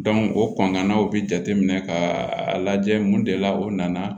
o kɔntannaw bɛ jateminɛ ka a lajɛ mun de la o nana